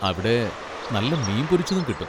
അവിടെ നല്ല മീൻ പൊരിച്ചതും കിട്ടും.